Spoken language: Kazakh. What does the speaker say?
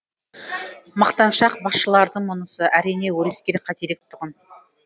мақтаншақ басшылардың мұнысы әрине өрескел қателік тұғын